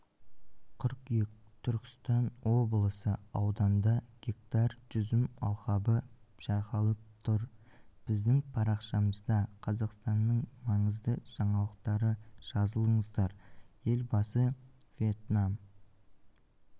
қыркүйек түркістан облысы ауданда гектар жүзімалқабы жайқалып тұр біздің парақшамызда қазақстанның маңызды жаңалықтары жазылыңыздар елбасы вьетнам